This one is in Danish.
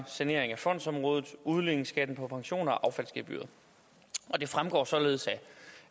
sanering af fondsområdet udligningsskatten på pensioner og affaldsgebyret det fremgår således